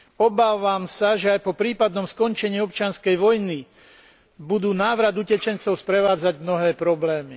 Obávam sa, že aj po prípadnom skončení občianskej vojny, budú návrat utečencov sprevádzať mnohé problémy.